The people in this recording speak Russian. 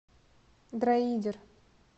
дроидер